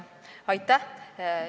Aitäh!